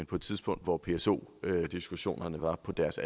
på et tidspunkt hvor pso diskussionerne var på deres